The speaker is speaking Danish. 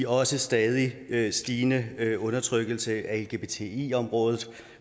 også stadig stigende undertrykkelse af lgbti området